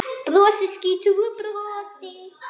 Brosir skrýtnu brosi.